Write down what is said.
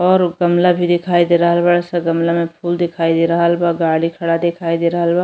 और गमला दिखाई दे रहल बा। सब गमला में फूल दिखाई दे रहल बा। गाड़ी खड़ा दिखाई दे रहल बा।